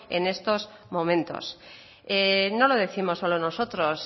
en estos momentos no lo décimos solo nosotros